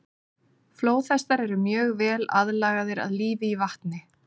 flóðhestar eru mjög vel aðlagaðir að lífi í vatni